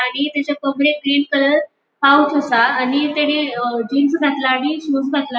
आणि तेजे कमरेक ग्रीन कलर पाउच आसा आणि तेणे अ जीन्स घातला आणि शूज घातला.